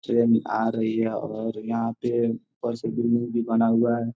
Train आ रही है और यहाँ पे ऊपर से बिल्डिंग भी बना हुआ है।